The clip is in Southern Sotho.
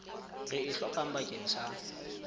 re e hlokang bakeng sa